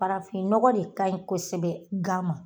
Farafinnɔgɔ de ka ɲi kosɛbɛ gan ma.